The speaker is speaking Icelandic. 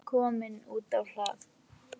Hann er kominn út á hlað.